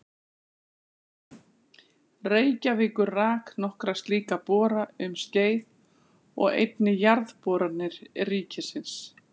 Reykjavíkur rak nokkra slíka bora um skeið og einnig Jarðboranir ríkisins.